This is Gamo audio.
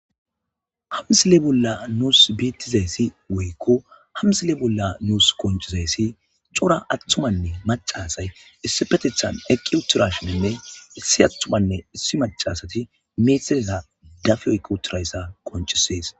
Huben qace qacada booththa qamise may'ada diza ceeyga macasiya uutha giddon eqqada uutha hashshashe dawus izi miyerakka daro uutha.